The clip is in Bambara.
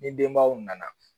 Ni denbaw nana